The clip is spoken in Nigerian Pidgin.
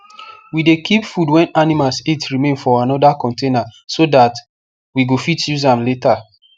we dey keep food wen animals eat remain for another container so that we go fit use am later